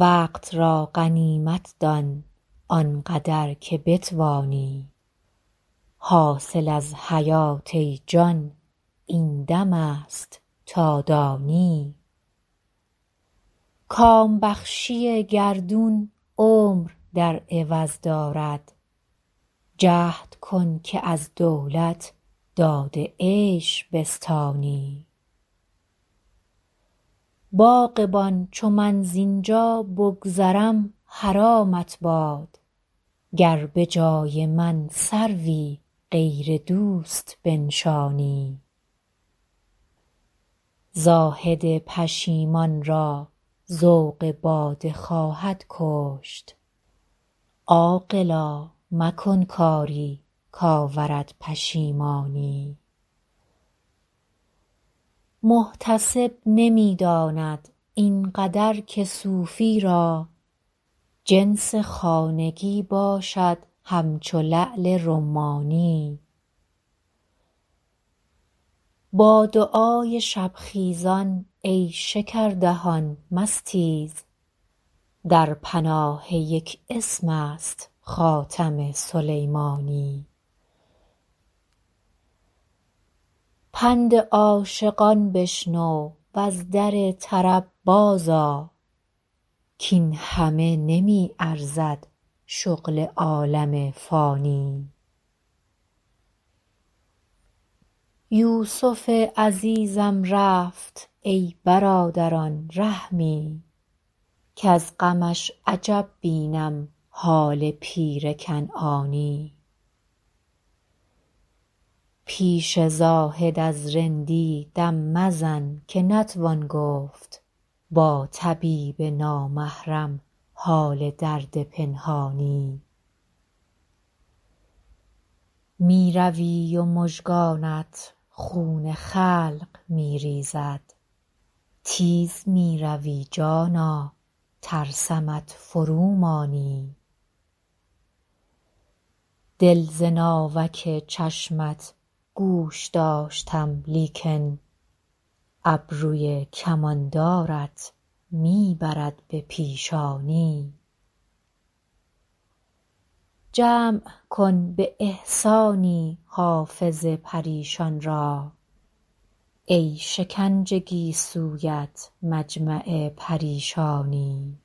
وقت را غنیمت دان آن قدر که بتوانی حاصل از حیات ای جان این دم است تا دانی کام بخشی گردون عمر در عوض دارد جهد کن که از دولت داد عیش بستانی باغبان چو من زین جا بگذرم حرامت باد گر به جای من سروی غیر دوست بنشانی زاهد پشیمان را ذوق باده خواهد کشت عاقلا مکن کاری کآورد پشیمانی محتسب نمی داند این قدر که صوفی را جنس خانگی باشد همچو لعل رمانی با دعای شب خیزان ای شکردهان مستیز در پناه یک اسم است خاتم سلیمانی پند عاشقان بشنو و از در طرب بازآ کاین همه نمی ارزد شغل عالم فانی یوسف عزیزم رفت ای برادران رحمی کز غمش عجب بینم حال پیر کنعانی پیش زاهد از رندی دم مزن که نتوان گفت با طبیب نامحرم حال درد پنهانی می روی و مژگانت خون خلق می ریزد تیز می روی جانا ترسمت فرومانی دل ز ناوک چشمت گوش داشتم لیکن ابروی کماندارت می برد به پیشانی جمع کن به احسانی حافظ پریشان را ای شکنج گیسویت مجمع پریشانی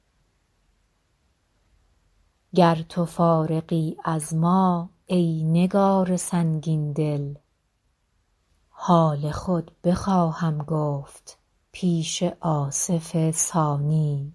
گر تو فارغی از ما ای نگار سنگین دل حال خود بخواهم گفت پیش آصف ثانی